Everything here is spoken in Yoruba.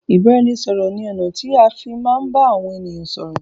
Ìbáraẹnisọ̀rọ̀ ní ọ̀nà tí a fi má ń bá àwọn ènìyàn sọ́rọ́